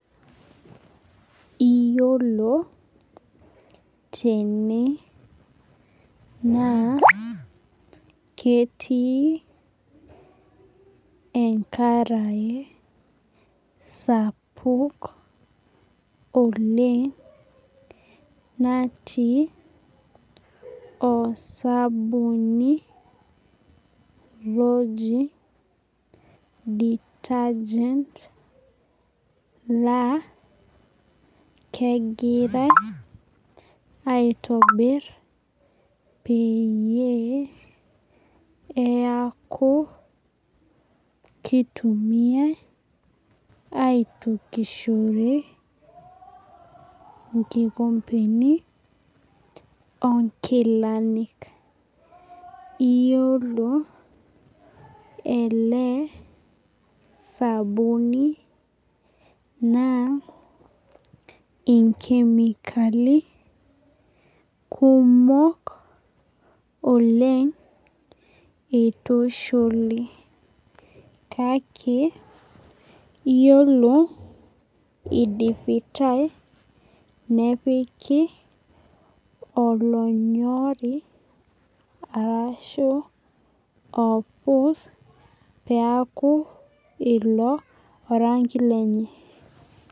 Iyolo tenenaa ketii enkarae sapuk oleng natii osabuni loji detergent na kegira aitobir peyie eaku kitumiai aitukishore nkikompeni onkilani iyolo ele sabuni naa inkimekali kumol oleng etushuli kake iyolo idipitae nepiki olonyori arashu orpus peaku ilo orangi lenye.